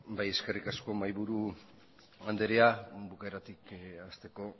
eskerrik asko mahaiburu andrea bukaeratik hasteko